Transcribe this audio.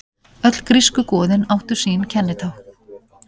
Öll grísku goðin áttu sín kennitákn.